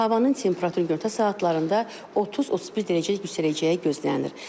Havanın temperaturu gündüz saatlarında 30-31 dərəcəyədək yüksələcəyi gözlənilir.